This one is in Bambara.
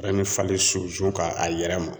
falen sunsun kan a yɛrɛ ma.